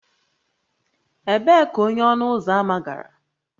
Ebee ka onye ọnụ ụzọ ámá gara?